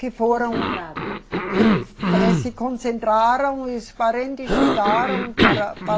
Que foram. Concentrados assim. Que, eh, se concentraram e os parentes chegaram para, pa